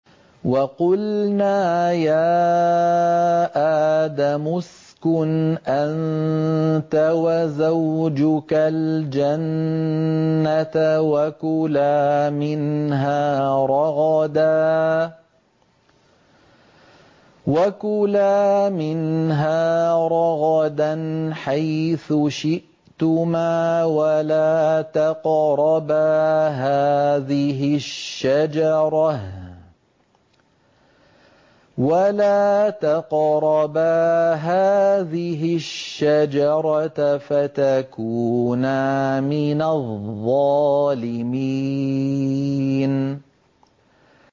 وَقُلْنَا يَا آدَمُ اسْكُنْ أَنتَ وَزَوْجُكَ الْجَنَّةَ وَكُلَا مِنْهَا رَغَدًا حَيْثُ شِئْتُمَا وَلَا تَقْرَبَا هَٰذِهِ الشَّجَرَةَ فَتَكُونَا مِنَ الظَّالِمِينَ